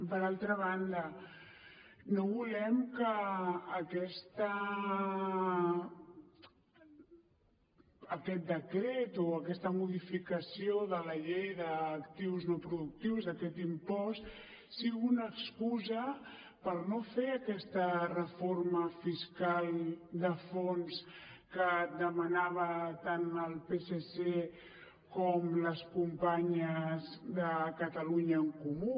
per altra banda no volem que aquest decret o aquesta modificació de la llei d’actius no productius aquest impost sigui una excusa per no fer aquesta reforma fiscal de fons que demanaven tant el psc com les companyes de catalunya en comú